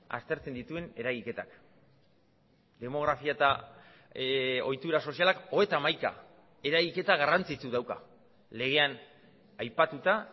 aztertzen dituen eragiketak demografia eta ohitura sozialak hogeita hamaika eragiketa garrantzitsu dauka legean aipatuta